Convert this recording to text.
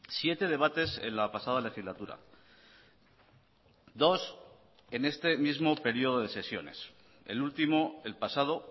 siete debates en la pasada legislatura dos en este mismo período de sesiones el último el pasado